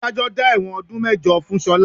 Adájọ́ dá ẹ̀wọ̀n ọdún mẹ́jọ fún Ṣọlá